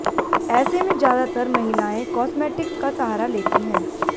ऐसे में ज्यादातर महिलाएं कॉस्मेटिक्स का सहारा लेती हैं